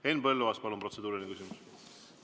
Henn Põlluaas, palun, protseduuriline küsimus!